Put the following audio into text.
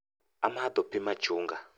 Amadho pii machunga